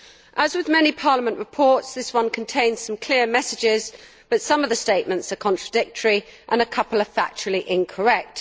As with many Parliament reports, this one contains some clear messages, but some of the statements are contradictory and a couple are factually incorrect.